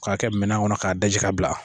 K'a kɛ minɛn kɔnɔ k'a daji ka bila